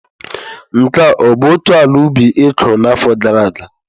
Nke a ọ bụ otu ala ubi ị kụrụ n'afọ gara aga?